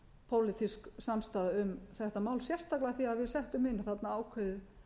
pólitísk samstaða um þetta mál sérstaklega af því við settum inn þarna ákveðið